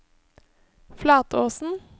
Flatåsen